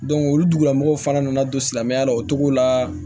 olu dugumɔgɔw fana nana don silamɛya la o cogo la